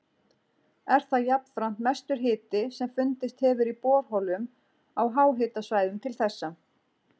Er það jafnframt mestur hiti sem fundist hefur í borholum á háhitasvæðum til þessa.